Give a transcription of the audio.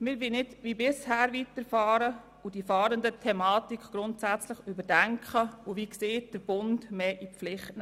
Wir wollen nicht wie bisher weiterfahren, sondern die Fahrenden-Thematik grundsätzlich überdenken und – wie erwähnt – den Bund mehr in die Pflicht nehmen.